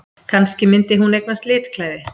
Kannski myndi hún eignast litklæði!